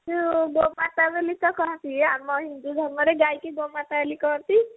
ଗଇକୁ ଗୋ ମାତା ତ ନିକା କହନ୍ତି ଆଉ ଆମ ହିନ୍ଦୁ ଧର୍ମରେ ଗଇକୁ ଗୋ ମାତା ବୋଲି କହନ୍ତି